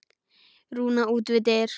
Rúna út við dyr.